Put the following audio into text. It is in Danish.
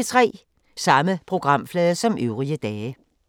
Samme programflade som øvrige dage